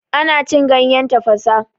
Ana cin ganyen tafasa.